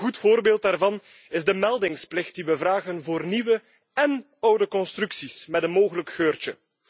Een goed voorbeeld daarvan is de meldingsplicht die we vragen voor nieuwe en oude constructies met een mogelijk geurtje.